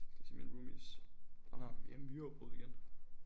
Det så mine roomies han har vi har myreudbrud igen